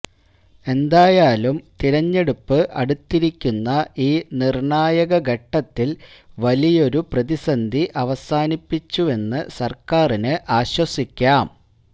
എന്തായാലും തിരഞ്ഞെടുപ്പ് അടുത്തിരിക്കുന്ന ഈ നിര്ണായക ഘട്ടത്തില് വലിയൊരു പ്രതിസന്ധി അവസാനിപ്പിച്ചുവെന്ന് സര്ക്കാരിന് ആശ്വസിക്കാം